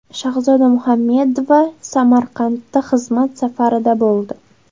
Shahzoda Muhammedova Samarqandda xizmat safarida bo‘ldi.